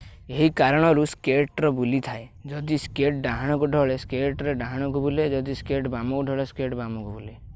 ଏହି କାରଣରୁ ସ୍କେଟର୍ ବୁଲିଥାଏ। ଯଦି ସ୍କେଟ୍ ଡାହାଣକୁ ଢଳେ ସ୍କେଟର୍ ଡାହାଣକୁ ବୁଲେ ଯଦି ସ୍କେଟ୍ ବାମକୁ ଢଳେ ସ୍କେଟର୍ ବାମକୁ ବୁଲେ।